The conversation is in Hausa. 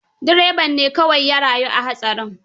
Dreban ne kawai ya rayu a hatsarin.